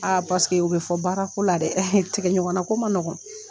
Aa paseke u bɛ fɔ baarako la dɛ tigɛ ɲɔgɔnna ko ma nɔgɔn.